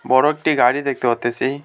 বড় একটি গাড়ি দেখতে পারতেছি।